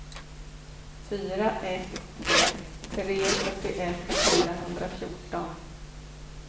fyra ett ett tre fyrtioett fyrahundrafjorton